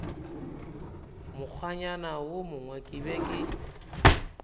mokgwanyana wo mongwe ke be